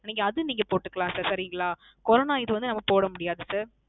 நீங்க அது நீங்க போட்டுக்கலாம் Sir சரிங்களா Corona இது வந்து நம்ம போடமுடியாது Sir